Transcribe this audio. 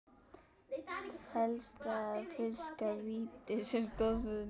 Telst það að fiska víti sem stoðsending?